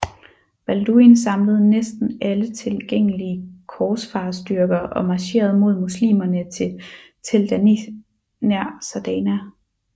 Balduin samlede næsten alle tilgængelige korsfarerstyrker og marcherede mod muslimerne til Tell Danith nær Zardana